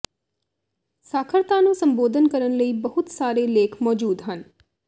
ਸਾਖਰਤਾ ਨੂੰ ਸੰਬੋਧਨ ਕਰਨ ਲਈ ਬਹੁਤ ਸਾਰੇ ਲੇਖ ਮੌਜੂਦ ਹਨ